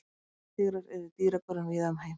Blettatígrar eru í dýragörðum víða um heim.